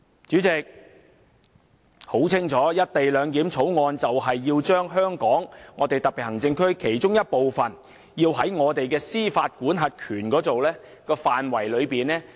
主席，很清楚，《條例草案》就是要把香港特區的其中一部分，從我們的司法管轄範圍中剔除。